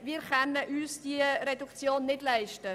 Diese Reduktion können wir uns nicht leisten.